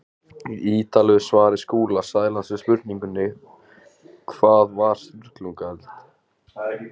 Í ítarlegu svari Skúla Sælands við spurningunni Hvað var Sturlungaöld?